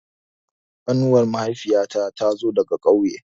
Ƙanuwar mahaifiya ta tazo daga ƙauye